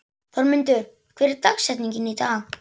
Þormundur, hver er dagsetningin í dag?